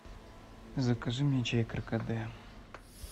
закажи мне чай каркаде